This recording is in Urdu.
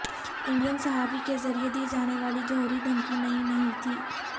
انڈین صحافی کے ذریعے دی جانے والی جوہری دھمکی نئی نہیں تھی